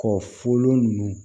Kɔ foolo ninnu